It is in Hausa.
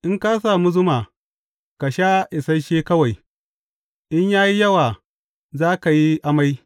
In ka sami zuma, ka sha isashe kawai, in ya yi yawa, za ka yi amai.